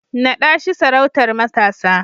Naɗa shi sarautar matasa!